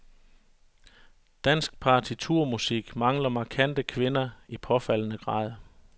Dansk partiturmusik mangler markante kvinder i påfaldende grad.